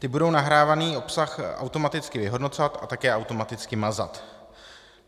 Ty budou nahrávaný obsah automaticky vyhodnocovat a také automaticky mazat.